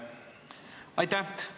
Aitäh!